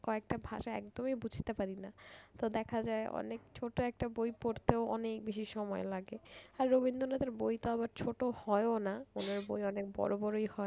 কয়েকটা ভাষা একদমই বুঝতে পারি না। তো দেখা যায় অনেক ছোট্ট একটা বই পড়তেও অনেক বেশি সময় লাগে আর রবীন্দ্রনাথের বই তো আবার ছোট হয়ও না ওনার বই অনেক বড় বড়ই হয়।